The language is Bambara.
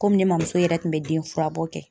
Komi ne mamuso yɛrɛ kun bɛ den furabɔ kɛ